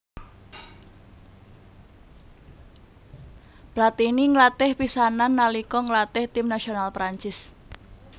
Platini nglatih pisanan nalika nglatih tim nasional Prancis